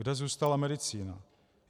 Kde zůstala medicína?